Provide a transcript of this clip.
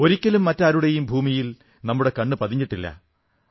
ഒരിക്കലും മറ്റാരുടെയും ഭൂമിയിൽ നമ്മുടെ കണ്ണ് പതിഞ്ഞിട്ടില്ല